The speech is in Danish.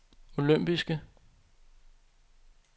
olympiske